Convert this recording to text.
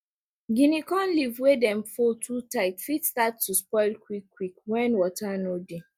guinea corn leave wey dem fold too tight fit start to spoil quick quick wen water no dey